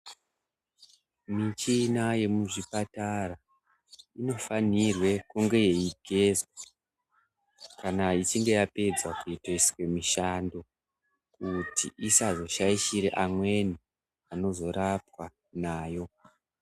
Michina yemuzvipatara inofanire kunge yeigezwa kana ichinge yapedza kuitiswe mushando, kuti isazoshaishire amweni anozorapwa nayo.